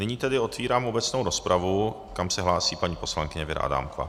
Nyní tedy otevírám obecnou rozpravu, kam se hlásí paní poslankyně Věra Adámková.